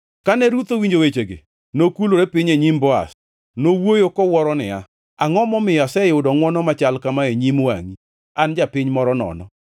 Kane Ruth owinjo wechegi, nokulore piny e nyim Boaz. Nowuoyo kowuoro niya, “Angʼo momiyo aseyudo ngʼwono machal kama e nyim wangʼi, an japiny moro nono?”